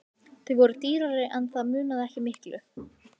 Þau voru dýrari en það munaði ekki miklu.